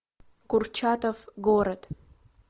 курчатов город